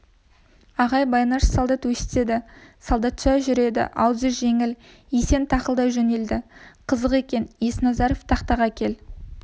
ағай байнаш солдат өстеді солдатша жүреді аузы жеңіл есен тақылдай жөнелді қызық екен есназаров тақтаға кел